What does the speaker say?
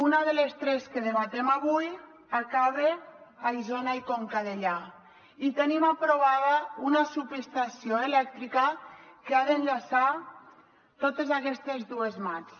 una de les tres que debatem avui acaba a isona i conca dellà i tenim aprovada una subestació elèctrica que ha d’enllaçar totes aquestes dues mats